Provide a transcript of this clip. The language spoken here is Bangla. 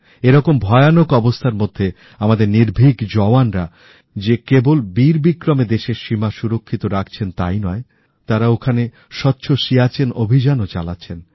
এরকম ভয়ানক অবস্থার মধ্যে আমাদের নির্ভীক জওয়ানরা যে কেবল বীরবিক্রমে দেশের সীমা সুরক্ষিত রাখছেন তাই নয় তাঁরা ওখানেস্বচ্ছ সিয়াচেন অভিযানও চালাচ্ছেন